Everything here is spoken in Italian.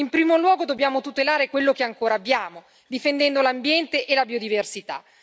In primo luogo dobbiamo tutelare quello che ancora abbiamo, difendendo l'ambiente e la biodiversità.